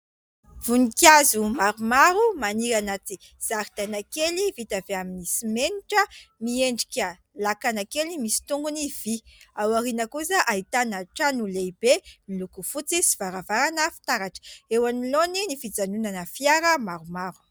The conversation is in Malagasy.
Voninkazo maromaro maniry anaty zaridaina kely vita avy amin'ny simenitra, miendrika lakana kely misy tongony vy. Ao aoriana kosa ahitana trano lehibe miloko fotsy sy varavarana fitaratra. Eo anoloany ny fijanonana fiara maromaro.